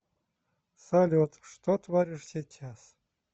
салют что творишь сейчас